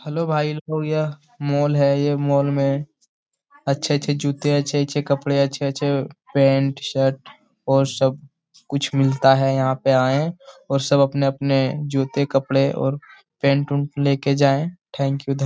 Hello भाई यह mall है यह मोल में अच्छे-अच्छे जूते अच्छे-अच्छे कपड़े अच्छे-अच्छे पेंट शर्ट और सब कुछ मिलता है यहाँ पर आए और सब अपने-अपने जूते कपड़े और पैंट वेंट लेकर जाए। थैंक यू धन्य --